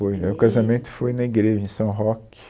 Foi, o meu casamento foi na igreja em São Roque.